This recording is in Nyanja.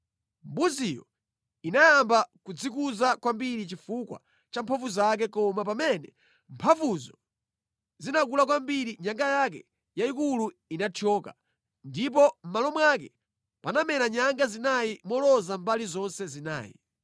Mbuziyo inayamba kudzikuza kwambiri chifukwa cha mphamvu zake koma pamene mphamvuzo zinakula kwambiri nyanga yake yayikulu inathyoka, ndipo mʼmalo mwake panamera nyanga zinayi moloza mbali zonse zinayi.